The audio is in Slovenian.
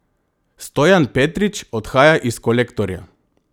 Stojan Petrič odhaja iz Kolektorja.